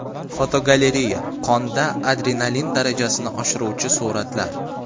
Fotogalereya: Qonda adrenalin darajasini oshiruvchi suratlar.